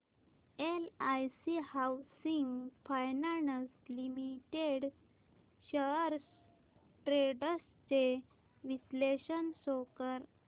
LIC housing finance limited shares trends चे विश्लेषण show कर